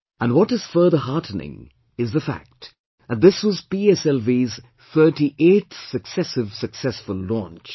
And what is further heartening is the fact that this was PSLV's 38th successive successful launch